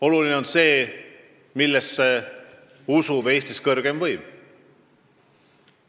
Oluline on see, millesse usub Eestis kõrgeim võim.